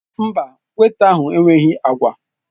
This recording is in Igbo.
Mba, wéita ahụ enweghị agwa.